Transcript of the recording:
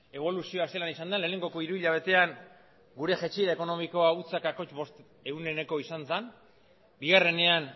eboluzioa zelan izan den lehenengo hiruhilabetekoan gure jaitsiera ekonomikoa ehuneko zero koma bostekoa izan zen bigarrenean